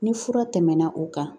Ni fura tɛmɛna o kan